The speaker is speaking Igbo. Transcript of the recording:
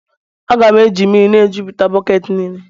Ana m eji mmiri na-ejuputa bọket niile.